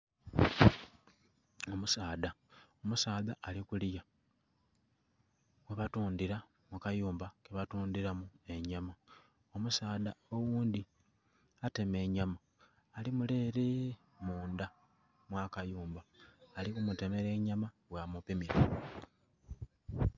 Omusaadha, omusaadha ali kuliya ghe batundhira mu kayumba ke batundhiramu enyama omusaadha oghundhi atema enyama alli mule ere mundha mwa kayumba, ali ku mutemera enyama bwa mu pimira.